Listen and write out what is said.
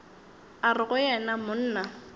a re go yena monna